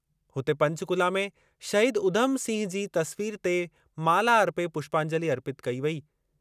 हुते पंचकुला में शहीद उधम सिंह जी तस्वीरु ते माला अर्पे पुष्पांजलि अर्पितु कई वेई।